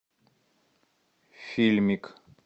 фильмик